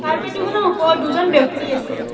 Carpet দুখনৰ ওপৰত দুজন ব্যক্তি আছে।